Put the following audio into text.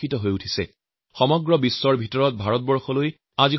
আটাইতকৈ বেছি বিদেশী বিনিয়োগ ভাৰতবৰ্ষতে হৈছে